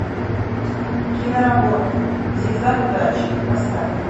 киноработа зигзаг удачи поставь